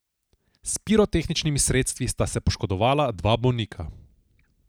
S pirotehničnimi sredstvi sta se poškodovala dva bolnika.